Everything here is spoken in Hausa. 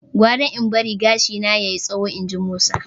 "Gwara in barin gashina ya yi tsayi" inji Musa.